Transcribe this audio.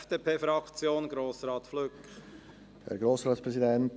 Ich wiederhole dies hier nicht.